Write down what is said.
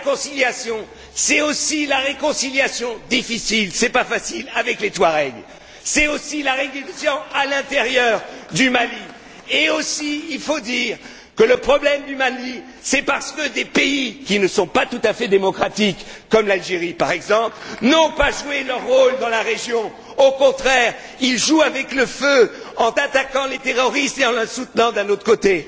La réconciliation c'est aussi la réconciliation, difficile, avec les Touaregs, et c'est aussi la réconciliation à l'intérieur du Mali. Il faut dire aussi que le problème du Mali c'est que des pays qui ne sont pas tout à fait démocratiques, comme l'Algérie, par exemple, n'ont pas joué leur rôle dans la région. Au contraire, ils jouent avec le feu en attaquant les terroristes et en les soutenant d'un autre côté.